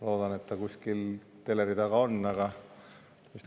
Loodan, et ta kuskil teleri taga on.